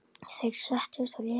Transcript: Þeir settust og léku.